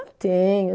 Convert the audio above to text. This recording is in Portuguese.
Tenho.